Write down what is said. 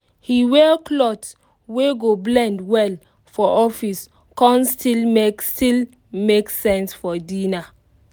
he wear cloth wey go blend well for office con still make still make sense for dinner